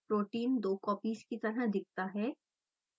protein दो copies की तरह दिखता है